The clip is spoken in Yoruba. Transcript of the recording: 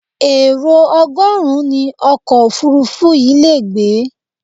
Èrò ọgọ́rùn-ún ni ọkọ̀ òfuurufú yìí le gbé.